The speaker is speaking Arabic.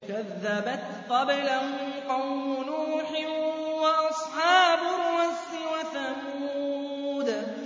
كَذَّبَتْ قَبْلَهُمْ قَوْمُ نُوحٍ وَأَصْحَابُ الرَّسِّ وَثَمُودُ